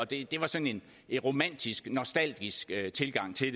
det var sådan en romantisk nostalgisk tilgang til